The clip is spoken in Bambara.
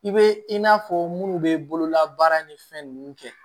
I bɛ i n'a fɔ minnu bɛ bololabaara ni fɛn ninnu kɛ